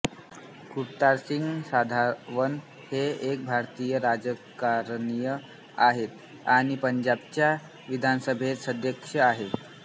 कुलतारसिंग संधावन हे एक भारतीय राजकारणी आहेत आणि पंजाबच्या विधानसभेचे सदस्य आहेत